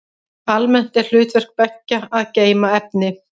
Almennt er hlutverk beggja að geyma efni.